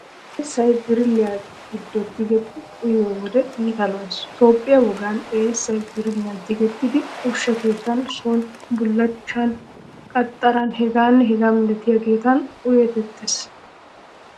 Eessaa birilliyaa giddo tigidi uyiyo wode iita lo"ees. Toophphiyaa woggan eessay birilliyan tigettidi ushsha keettatun, sooni, bullachchan, qaxxaran hegaanne hegaa milatiyaageti uyettettees.